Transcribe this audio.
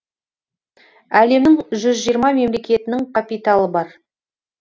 әлемнің жүз жиырма мемлекетінің капиталы бар